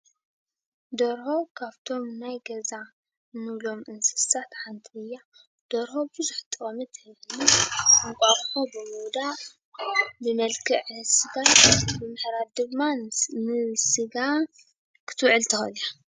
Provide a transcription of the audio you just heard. ደርሆ ካብቶም ናይ ገዛ ንብሎም እንስሳት ሓንቲ እያ። ደርሆ ብዙሕ ጥቕሚ ትህብ እንቋቁሖ ብምውዳቕ፣ ብመልክዕ ስጋ ብምሕራድ ድማ ንስጋ ክትውዕል ትክእል እያ።